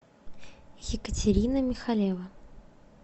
екатерина михалева